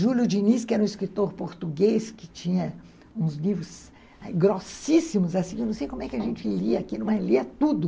Júlio Diniz, que era um escritor português, que tinha uns livros grossíssimos, assim, eu não sei como é que a gente lia aquilo, mas lia tudo.